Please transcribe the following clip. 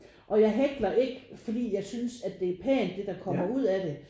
Og jeg hækler ikke fordi jeg synes at det er pænt det der kommer ud af det